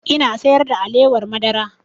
Ina sayar da alewar madara